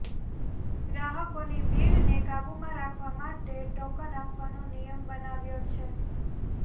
ગ્રાહકોની ભીડને કાબૂમાં રાખવા માટે ટોકન આપવાનો નિયમ બનાવ્યો છે